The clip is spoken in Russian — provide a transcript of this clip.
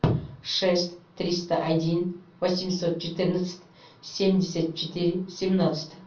шесть триста один восемьсот четырнадцать семьдесят четыре семнадцать